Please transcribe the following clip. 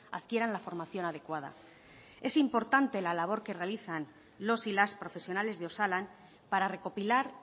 adquieran la formación adecuada es importante la labor que realizan los y las profesionales de osalan para recopilar